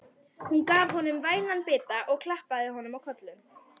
Hún gaf honum vænan bita og klappaði honum á kollinn.